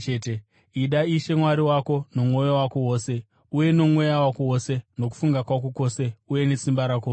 Ida Ishe Mwari wako nomwoyo wako wose uye nomweya wako wose nokufunga kwako kwose uye nesimba rako rose.’